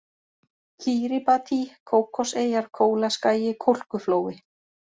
Kíríbatí, Kókoseyjar, Kólaskagi, Kólkuflói